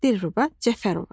Dilruba Cəfərova.